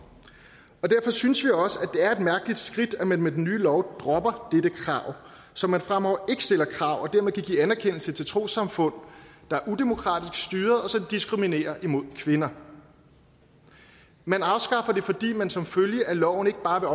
derfor synes vi også at det er et mærkeligt skridt at man med den nye lov dropper dette krav så man fremover ikke stiller krav og dermed kan give anerkendelse til trossamfund der er udemokratisk styret og som diskriminerer kvinder man afskaffer det fordi man som følge af loven ikke bare vil